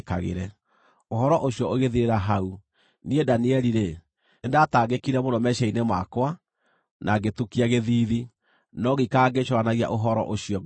“Ũhoro ũcio ũgĩthirĩra hau. Niĩ Danieli-rĩ, nĩndatangĩkire mũno meciiria-inĩ makwa, na ngĩtukia gĩthiithi, no ngĩikara ngĩĩcũũranagia ũhoro ũcio ngoro-inĩ yakwa.”